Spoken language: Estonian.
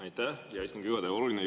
Aitäh, hea istungi juhataja!